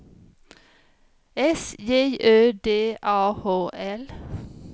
S J Ö D A H L